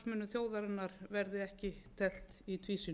þjóðarinnar verði ekki teflt í tvísýnu